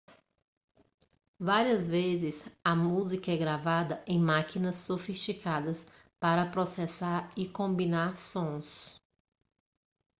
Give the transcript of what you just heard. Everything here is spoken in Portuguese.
várias vezes a música é gravada em máquinas sofisticadas para processar e combinar sons